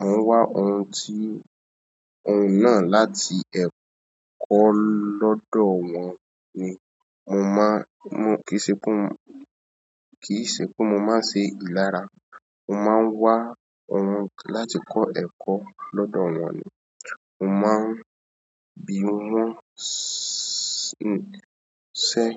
A nwa oun ti òun náà láti ẹ́ kọ́ lọ́dọ̀ wọ́n ni. Mo máa ń, kì í ṣe pé mo máa ń ṣe ìlara. Mo máa ń wá òun láti kọ́ ẹ̀kọ́ lọ́dọ̀ wọ́n ni. Mo ma n ronu iṣẹ́.